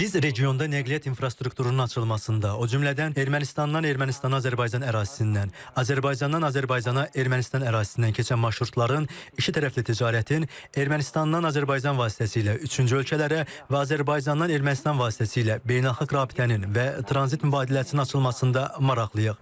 Biz regionda nəqliyyat infrastrukturunun açılmasında, o cümlədən Ermənistandan Ermənistan-Azərbaycan ərazisindən, Azərbaycandan Azərbaycana Ermənistan ərazisindən keçən marşrutların, ikitərəfli ticarətin, Ermənistandan Azərbaycan vasitəsilə üçüncü ölkələrə və Azərbaycandan Ermənistan vasitəsilə beynəlxalq rabitənin və tranzit mübadiləsinin açılmasında maraqlıyıq.